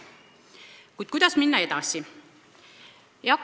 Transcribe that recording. Kuid kuidas minna edasi?